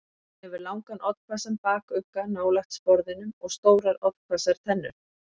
Hann hefur langan, oddhvassan bakugga nálægt sporðinum og stórar oddhvassar tennur.